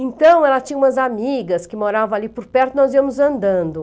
Então, ela tinha umas amigas que moravam ali por perto, nós íamos andando.